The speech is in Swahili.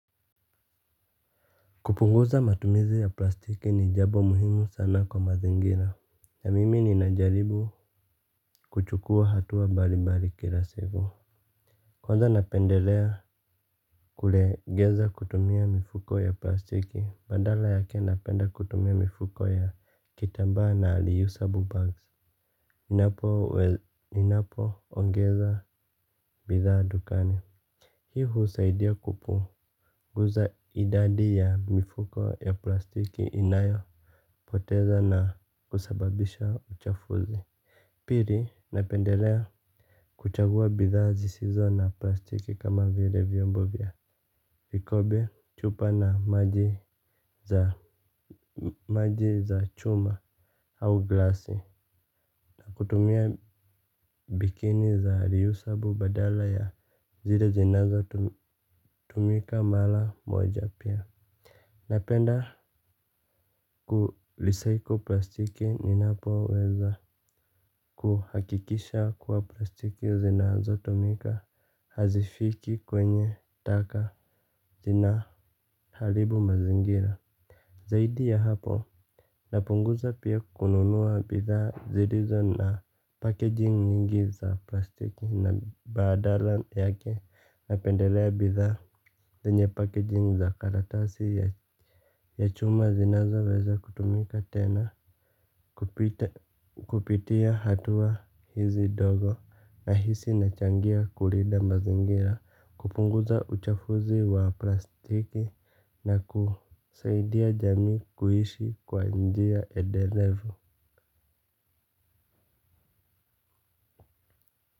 Kupunguza matumizi ya plastiki ni jambo muhimu sana kwa mazingira. Na mimi ninajaribu kuchukua hatua bali bali kila siku. Kwanza napendelea kulegeza kutumia mifuko ya plastiki. Badala yake napenda kutumia mifuko ya kitambaa na reusable bags. Ninapo ongeza bidhaa dukani. Hii husaidia kupu. Nguza idadi ya mifuko ya plastiki inayo. Poteza na kusababisha uchafuzi. Pili napendelea kuchagua bidhaa zisizo na plastiki kama vile vyombo vya vikobe chupa na maji za chuma au glasi. Kutumia bikini za reusable badala ya zile zinazo tumika mala moja pia. Napenda kurecycle plastiki ninapo weza kuhakikisha kuwa plastiki zinazo tumika hazifiki kwenye taka zinahalibu mazingira. Zaidi ya hapo napunguza pia kununua bidhaa zilizo na packaging nyingi za plastiki na badala yake napendelea bidhaa zenye packaging za karatasi ya chuma zinazo weza kutumika tena. Kupitia hatua hizi ndogo nahisi nachangia kulinda mazingira. Kupunguza uchafuzi wa plastiki na kusaidia jamii kuishi kwa njia edelevu.